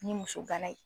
Ni muso bana ye